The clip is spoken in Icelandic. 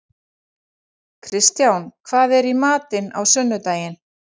Kristján, hvað er í matinn á sunnudaginn?